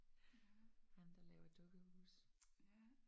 Ham der laver dukkehuse